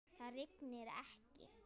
Það rignir ekki.